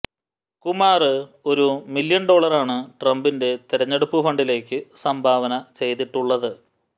കുമാര് ഒരു മില്യന് ഡോളറാണ് ട്രംപിന്റെ തിരഞ്ഞെടുപ്പു ഫണ്ടിലേക്ക് സംഭാവന ചെയ്തിട്ടുള്ളത്